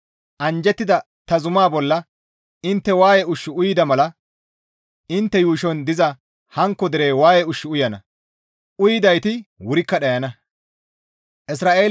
Anjjettida ta zuma bolla intte waaye ushshu uyida mala intte yuushon diza hankko derey waaye ushshu uyana; uyidayti wurikka dhayana.